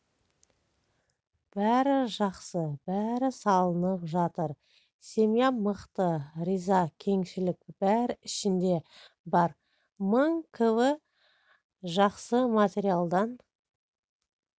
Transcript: бәрі жақсы бәрі салынып жатыр семьям мықты риза кеңішілік бәрі ішінде бар мың кв жақсы материалдан